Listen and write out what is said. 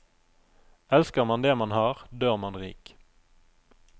Elsker man det man har, dør man rik.